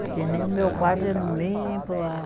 Porque nem o meu quarto eu não limpo, a